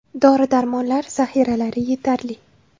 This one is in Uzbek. Dori-darmonlar zaxiralari yetarli.